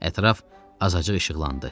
Ətraf azacıq işıqlandı.